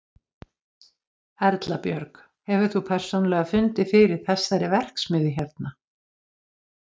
Erla Björg: Hefur þú persónulega fundið fyrir þessari verksmiðju hérna?